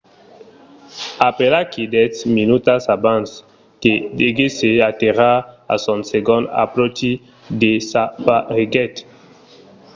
aperaquí dètz minutas abans que deguèsse aterrar a son segond apròchi desapareguèt